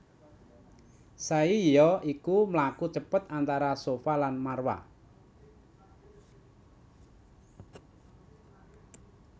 Sai ya iku mlaku cepet antara Shafa lan Marwah